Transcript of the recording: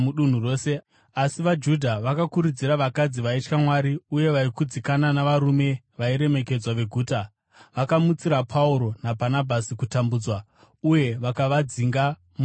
Asi vaJudha vakakurudzira vakadzi vaitya Mwari uye vaikudzikana navarume vairemekedzwa veguta, vakamutsira Pauro naBhanabhasi kutambudzwa, uye vakavadzinga mudunhu ravo.